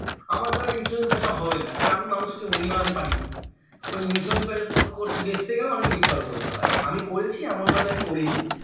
আমার দ্বারা insurance বেচা হবেনা কারণ আমি মানুষকে মুরগি বানাতে পারিনা ওই insurance বেচা এর করতে বেচতে গেলে অনেক মিথ্যে কথা বলতে হয় আমি করেছি এমন লয় যে আমি করিনি